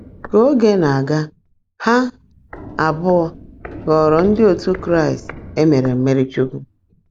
Ka oge na-aga, ha abụọ ghọrọ ndị otu Kraịst e mere mmirichukwu.